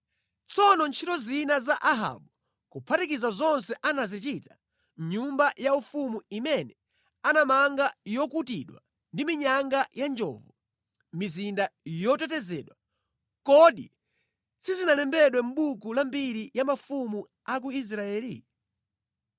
Tsono ntchito zina za Ahabu, kuphatikiza zonse anazichita, nyumba yaufumu imene anamanga yokutidwa ndi minyanga ya njovu, mizinda yotetezedwa, kodi sizinalembedwe mʼbuku la mbiri ya mafumu a ku Israeli?